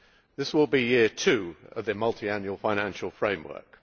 This will be year two of the multiannual financial framework.